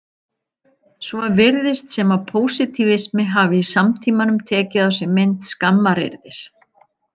Svo virðist sem að pósitífismi hafi í samtímanum tekið á sig mynd skammaryrðis.